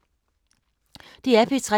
DR P3